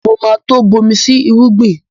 Mo ma tó bomi sí irúgbìn